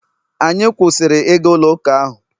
anyị kwụsịrị ịga ụlọ uka ahụ